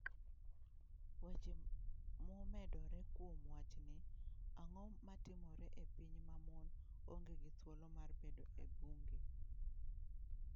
Weche momedore kuom wachni: Ang'o matimore e piny ma mon onge gi thuolo mar bedo e bunge?